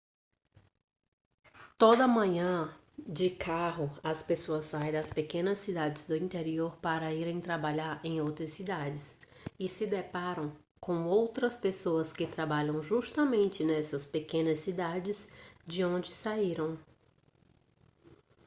toda manhã de carro as pessoas saem das pequenas cidades do interior para irem trabalhar em outras cidades e se deparam com outras pessoas que trabalham justamente nessas pequenas cidades de onde saíram